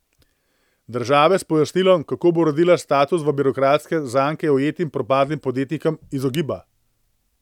Država se pojasnilom, kako bo uredila status v birokratske zanke ujetim propadlim podjetnikom izogiba.